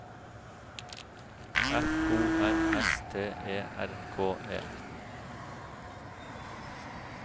F O R S T E R K E